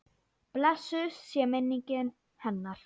Blessuð sé minning hennar.